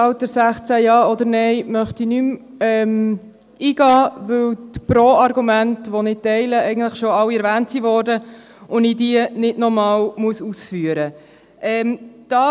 Stimmrechtalter Ja oder Nein» möchte ich nicht mehr eingehen, weil die Pro-Argumente, welche ich teile, eigentlich schon alle erwähnt wurden und ich diese nicht nochmals ausführen muss.